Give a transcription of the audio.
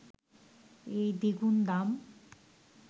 এই দ্বিগুণ দাম